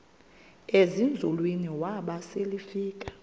ezinzulwini waba selefika